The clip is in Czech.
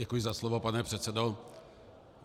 Děkuji za slovo, pane předsedo.